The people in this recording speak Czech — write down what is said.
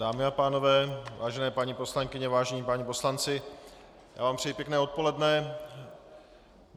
Dámy a pánové, vážené paní poslankyně, vážení páni poslanci, já vám přeji pěkné odpoledne.